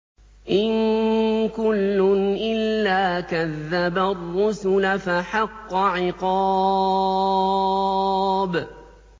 إِن كُلٌّ إِلَّا كَذَّبَ الرُّسُلَ فَحَقَّ عِقَابِ